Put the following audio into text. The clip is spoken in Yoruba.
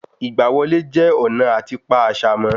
Ìgbà wọlé jẹ́ ọ̀nà àti pa àṣà mo